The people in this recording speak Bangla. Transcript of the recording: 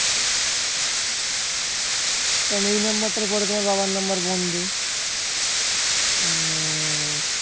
কারণ এই number টার পরে তোমার বাবার number বন্ধ উম